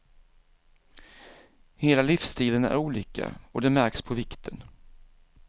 Hela livsstilen är olika, och det märks på vikten.